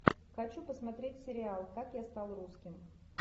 хочу посмотреть сериал как я стал русским